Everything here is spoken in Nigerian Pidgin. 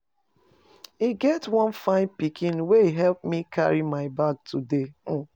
E get one fine pikin wey e help me carry my bag today um.